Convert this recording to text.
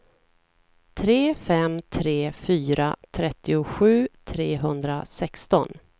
tre fem tre fyra trettiosju trehundrasexton